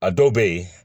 A dɔw bɛ yen